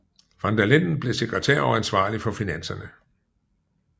Van der Linden blev sekretær og ansvarlig for finanserne